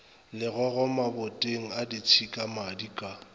legogo maboteng a ditšhikamadi ka